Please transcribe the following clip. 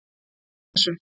Ekki úr þessu.